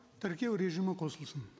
тіркеу режимі қосылсын